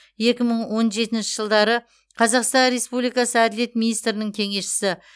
екі мың он жетінші жылдары қазақстан республикасы әділет министрінің кеңесшісі